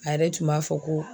A yɛrɛ tun b'a fɔ ko.